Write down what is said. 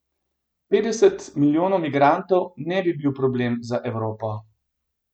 Petdeset milijonov migrantov ne bi bil problem za Evropo.